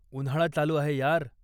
उन्हाळा चालू आहे यार!